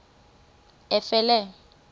efele